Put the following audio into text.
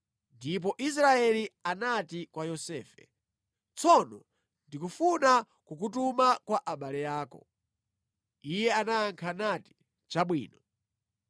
ndipo Israeli anati kwa Yosefe, “Tsono, ndikufuna kukutuma kwa abale ako.” Iye anayankha nati, “Chabwino.”